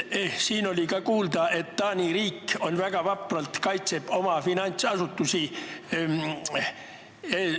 Siin oli kuulda, et Taani riik väga vapralt kaitseb oma finantsasutusi.